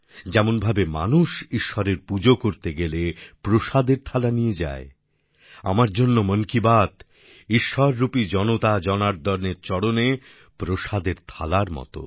যেমনভাবে মানুষ ঈশ্বরের পুজো করতে গেলে প্রসাদের থালা নিয়ে যায় আমার জন্য মন কি বাত ঈশ্বররূপী জনতা জনার্দনের চরণে প্রসাদের থালার মত